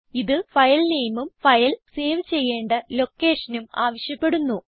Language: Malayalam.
ഇത് ഫയൽ നെയിമും സേവ് ചെയ്യേണ്ട ലൊക്കേഷനും ആവശ്യപ്പെടുന്നു